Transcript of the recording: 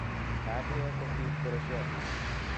Nandiek ko ki biik koroshiot